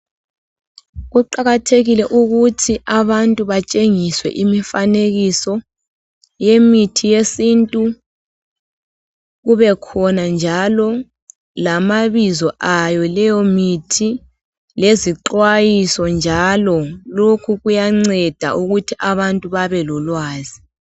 Kuqakathekile ukuthi abantu batshengiswe imifanekiso yemithi yesintu kubekhona njalo lamabizo ayo leyo mithi lezixwayiso njalo. Lokhu kuyanceda ukuthi abantu babe lolwazi